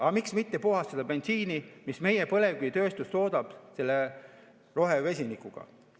Aga miks mitte puhastada bensiini, mida meie põlevkivitööstus toodab, selle rohevesinikuga?